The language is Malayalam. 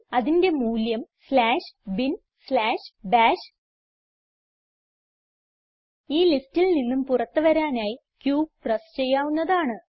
അതിന്റെ മൂല്യം സ്ലാഷ് ബിൻ സ്ലാഷ് ബാഷ് ഈ ലിസ്റ്റിൽ നിന്ന് പുറത്ത് വരാനായി q പ്രസ് ചെയ്യാവുന്നതാണ്